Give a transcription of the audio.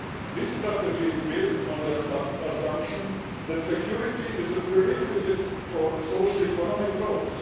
This strategy is built on the assumption that security is a prerequisite for socioeconomic growth.